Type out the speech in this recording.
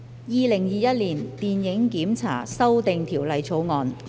《2021年電影檢查條例草案》。